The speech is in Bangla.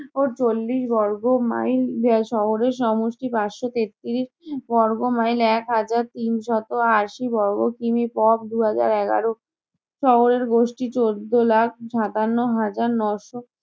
ও চল্লিশ বর্গ mile শহরের সমষ্টি। পাঁচশো তেত্তিরিশ বর্গ mile একহাজার তিনশত আশি বর্গ কি. মি. দু হাজার এগারো। শহরের গোষ্ঠী চোদ্দ লাখ সাতান্ন হাজার ন-শো